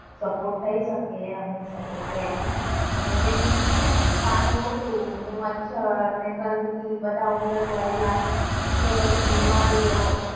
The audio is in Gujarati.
સપોર્ટ કરી શકીએ એટલો અમે support કર્યો. અને જેમ પાણી ઉતર્યું અને મચ્છર ને ગંદકી બધા ઉંદર મરેલા એટલે બધી બીમારીઓ